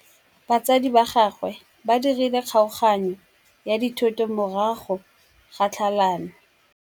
Batsadi ba gagwe ba dirile kgaoganyô ya dithoto morago ga tlhalanô.